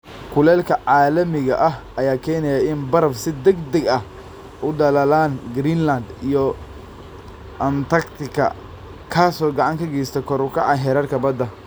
Kulaylka caalamiga ah ayaa keenaya in baraf si degdeg ah u dhalaalaan Greenland iyo Antarctica, kaas oo gacan ka geysta kor u kaca heerarka badda.